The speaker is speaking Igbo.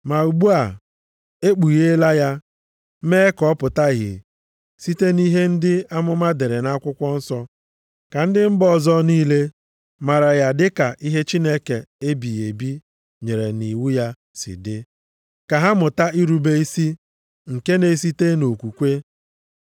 Ma ugbu a, e kpugheela ya, mee ka ọ pụta ìhè site nʼihe ndị amụma dere nʼakwụkwọ nsọ, ka ndị mba ọzọ niile maara ya dịka ihe Chineke ebighị ebi nyere nʼiwu ya si dị, ka ha mụta irube isi nke na-esite nʼokwukwe.